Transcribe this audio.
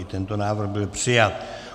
I tento návrh byl přijat.